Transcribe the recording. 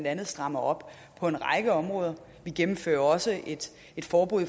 andet strammer op på en række områder vi gennemfører også et forbud